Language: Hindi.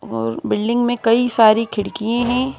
और बिल्डिंग में कई सारी खिड़कियें हैं ।